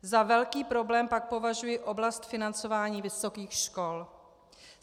Za velký problém pak považuji oblast financování vysokých škol.